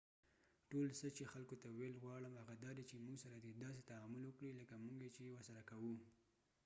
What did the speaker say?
ټول څه چې خلکو ته ویل غواړم هغه دادي چې مونږ سره دې داسې تعامل وکړي لکه مونږ یې چې ورسره کوو